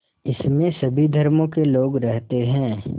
इसमें सभी धर्मों के लोग रहते हैं